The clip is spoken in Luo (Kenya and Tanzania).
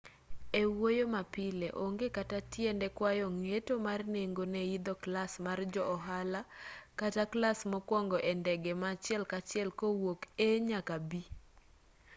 e wuoyo ma pile onge kata tiende kwayo ng'eto mar nengo ne idho klas mar jo ohala kata klas mokuongo e ndege ma achiel kachiel kowuok a nyaka b